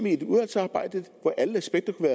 i et udvalgsarbejde hvor alle aspekter kunne